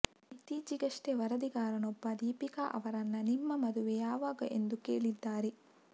ಇತ್ತೀಚಿಗಷ್ಟೆ ವರದಿಗಾರನೊಬ್ಬ ದೀಪಿಕಾ ಅವರನ್ನ ನಿಮ್ಮ ಮದುವೆ ಯಾವಾಗ ಎಂದು ಕೇಳಿದ್ದಾರೆ